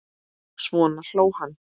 Svo hló hann.